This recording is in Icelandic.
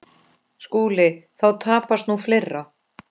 SKÚLI: Þá tapast nú fleira.